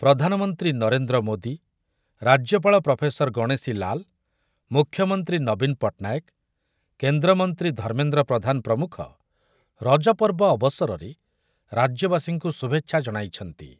ପ୍ରଧାନମନ୍ତ୍ରୀ ନରେନ୍ଦ୍ର ମୋଦି, ରାଜ୍ୟପାଳ ପ୍ରଫେସର ଗଣେଶୀ ଲାଲ, ମୁଖ୍ୟମନ୍ତ୍ରୀ ନବୀନ ପଟ୍ଟନାୟକ, କେନ୍ଦ୍ରମନ୍ତ୍ରୀ ଧର୍ମେନ୍ଦ୍ର ପ୍ରଧାନ ପ୍ରମୁଖ ରଜପର୍ବ ଅବସରରେ ରାଜ୍ୟବାସୀଙ୍କୁ ଶୁଭେଚ୍ଛା ଜଣାଇଛନ୍ତି ।